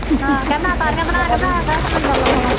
ਹਾਂ ਕਹਿ ਮੈਂ ਸਾਰੀਆਂ ਬਣਾ ਕੇ ਮੈਂ ਕਿਹੜਾ ਲੰਗਰ ਲਾਉਣਾ ਵਾਂ